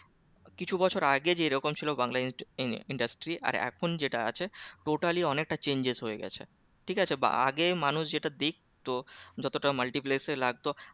কিছু বছর আগে যেরকম ছিল বাংলা industry আর এখন যেটা আছে totally অনেকটা chenges হয়ে গেছে ঠিক আছে বা আগে মানুষ যেটা দেখতো যতটা multiplex এ লাগতো